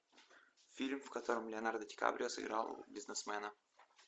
фильм в котором леонардо ди каприо сыграл бизнесмена